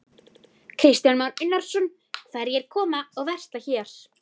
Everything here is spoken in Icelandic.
Kristján Már Unnarsson: Hverjir koma og versla hér?